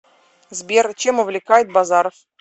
сбер чем увлекает базаров